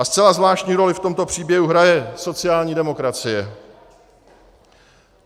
A zcela zvláštní roli v tomto příběhu hraje sociální demokracie.